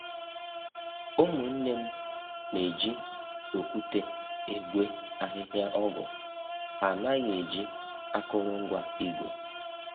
Ụmụnne m na-eji okwute egwe ahịhịa ọgwụ, ha anaghị eji akụrụngwa igwe